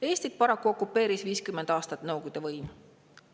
Eestit okupeeris paraku 50 aastat Nõukogude võim.